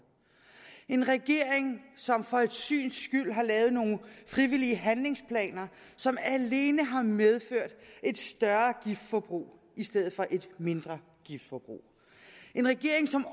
en regering som for et syns skyld har lavet nogle frivillige handlingsplaner som alene har medført et større giftforbrug i stedet for et mindre giftforbrug en regering som